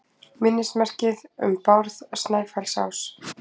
Minnismerki um Bárð Snæfellsás.